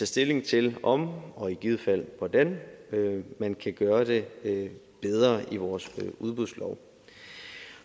stilling til om og i givet fald hvordan man kan gøre det det bedre i vores udbudslov